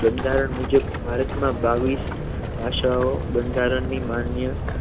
બંધારણ મુજબ ભારતમાં બાવીસ ભાષાઓ બંધારણની માન્ય